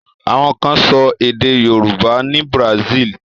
Àwọn kan sọ èdè Yorùbá ni Brazil.